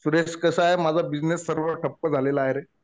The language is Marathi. सुरेश कसं आहे माझा बिझिनेस सर्व ठप्प झालेला आहे रे.